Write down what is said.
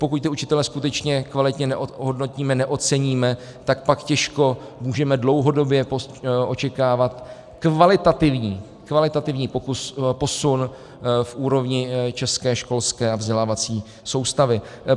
Pokud ty učitele skutečně kvalitně neohodnotíme, neoceníme, tak pak těžko můžeme dlouhodobě očekávat kvalitativní posun v úrovni české školské a vzdělávací soustavy.